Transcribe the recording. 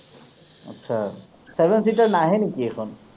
আচ্ছা, seven seater নাহে নেকি এইখন?